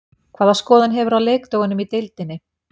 Hvaða skoðun hefurðu á leikdögunum í deildinni?